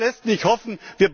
Das lässt nicht hoffen.